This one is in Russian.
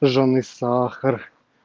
жжённый сахар